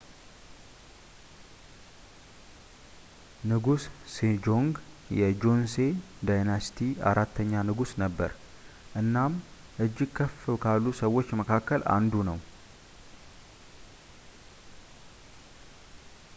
ንጉስ ሴጆንግ የ ጆሴን ዳይነስቲይ አራተኛ ንጉስ ነበር እናም እጅግ ከፍ ካሉ ሰዎች መካከል አንዱ ነው